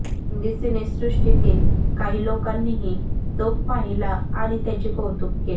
हिंदी सिनेसृष्टीतील काही लोकांनीही तो पाहिला आणि त्याचे कौतुक केले